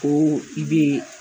Ko i be